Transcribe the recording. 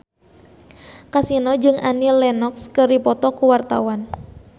Kasino jeung Annie Lenox keur dipoto ku wartawan